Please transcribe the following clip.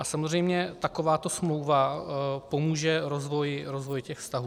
A samozřejmě takováto smlouva pomůže rozvoji těch vztahů.